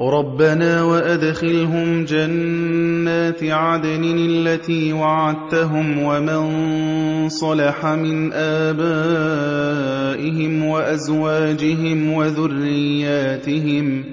رَبَّنَا وَأَدْخِلْهُمْ جَنَّاتِ عَدْنٍ الَّتِي وَعَدتَّهُمْ وَمَن صَلَحَ مِنْ آبَائِهِمْ وَأَزْوَاجِهِمْ وَذُرِّيَّاتِهِمْ ۚ